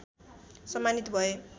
सम्मानित भए